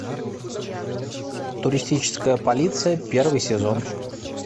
туристическая полиция первый сезон